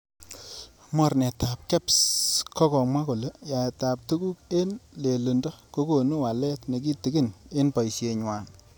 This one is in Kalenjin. Mornetab Kebs kokamwa kole yaaetab tuguk en lelindo kokonu waleet nekitigin en boisienywan.